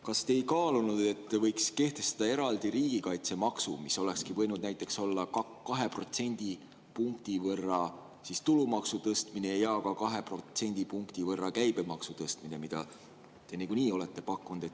Kas te ei kaalunud, et võiks kehtestada eraldi riigikaitsemaksu, mis olekski võinud näiteks olla 2 protsendipunkti võrra tulumaksu tõstmine ja ka 2 protsendipunkti võrra käibemaksu tõstmine, mida te nagunii olete pakkunud?